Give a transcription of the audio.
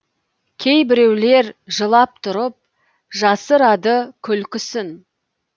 кейбіреулер жылап тұрып жасырады күлкісін